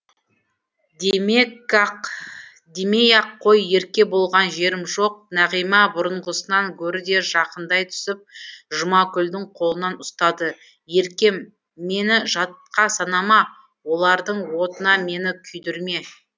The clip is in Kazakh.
демей ақ қой ерке болған жерім жоқ нағима бұрынғысынан гөрі де жақындай түсіп жұмакүлдің қолын ұстады еркем мені жатқа санама олардың отына мені күйдірме